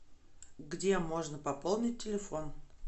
где можно пополнить телефон